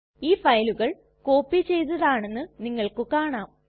ഈ ഫയലുകൾ കോപ്പി ചെയ്തതാണെന്ന് നിങ്ങൾക്ക് കാണാം